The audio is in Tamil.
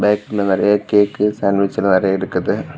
பேக்கரில நிறைய கேக்கு சாண்ட்விச் எல்லா நிறைய இருக்குது.